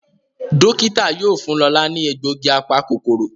Dókítà yóò fún Lọla ní egbògi apa-kòkòrò.